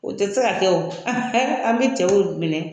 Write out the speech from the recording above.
O tɛ se ka kɛ o an bɛ cɛw minɛ